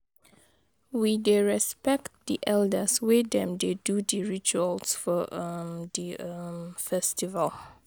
We dey respect di elders wen dem dey do di rituals for um di um festival.